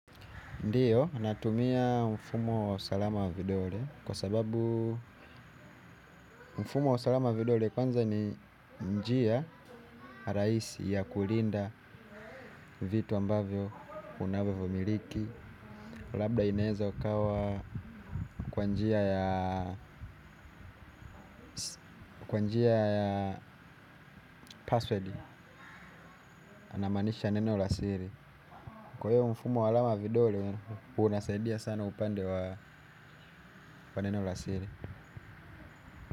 Ndiyo, natumia mfumo wa usalama wa vidole kwa sababu mfumo wa usalama wa vidole kwanza ni njia rahisi ya kulinda vitu ambavyo unavyovimiliki labda ineza ukawa kwa njia ya password namanisha neno la siri. Kwa hiyo mfumo wa alama wa vidole, unasaidia sana upande wa neno la siri.